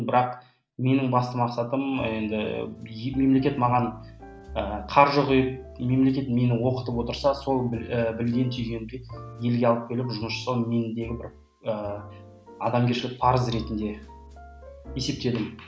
бірақ менің басты мақсатым енді мемлекет маған ы қаржы құйып мемлекет мені оқытып отырса сол і білген түйгенімді елге алып келіп жұмыс жасау мендегі бір ыыы адамгершілік парыз ретінде есептедім